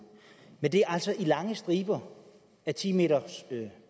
men det er altså i lange striber af ti meters